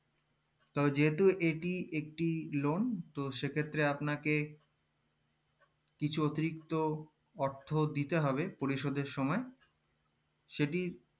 তবে যেতো এটি একটি loan তো সেক্ষেত্রে আপনাকে কিছু অতিরিক্ত অর্থ দিতে হবে পরিষদের সময় সেটি